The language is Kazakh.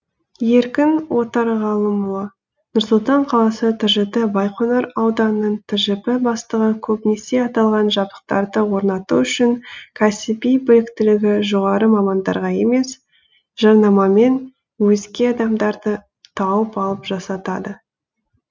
еркін отарғалымұлы нұр сұлтан қаласы тжд байқоңыр ауданының тжб бастығы көбінесе аталған жабдықтарды орнату үшін кәсіби біліктілігі жоғары мамандарға емес жарнамамен өзге адамдарды тауып алып жасатады